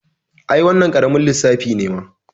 I, wannan ƙaramin lissafi ne mana